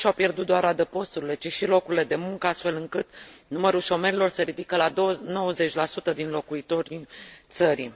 oameni nu și au pierdut doar adăposturile, ci și locurile de muncă astfel încât numărul șomerilor se ridică la 90 din locuitorii țării.